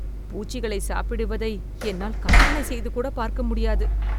பூச்சிகளைச் சாப்பிடுவதை என்னால் கற்பனை செய்துகூட பார்க்க முடியாது